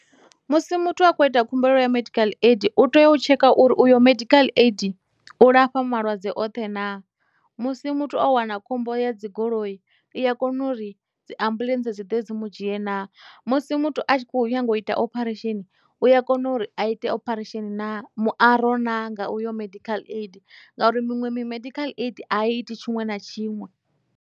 Musi muthu a khou ita khumbelo ya medical aid u tea u tsheka uri uyo medical aid u lafha malwadze oṱhe na musi muthu o wana khombo ya dzigoloi iya kona uri dzi ambuḽentse dzi ḓe dzi mu dzhie na musi muthu a tshi kho u nyanga u ita opharesheni uya kona uri a ite opharesheni na muaro naa nga uyo medical aid ngauri miṅwe medical aid a i iti tshiṅwe na tshiṅwe.